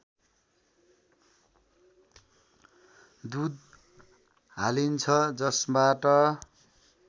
दूध हालिन्छ जसबाट